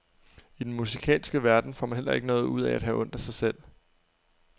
I den musikalske verden får man heller ikke noget ud af at have ondt af sig selv.